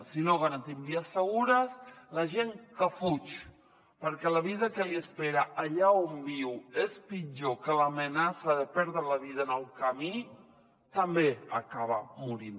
si no garantim vies segures la gent que fuig perquè la vida que l’espera allà on viu és pitjor que l’amenaça de perdre la vida en el camí també acaba morint